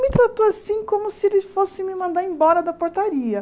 Me tratou assim como se ele fosse me mandar embora da portaria.